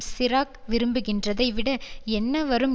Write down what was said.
சிராக் விரும்புகின்றதை விட என்ன வரும்